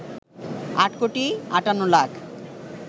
৮ কোটি ৫৮ লাখ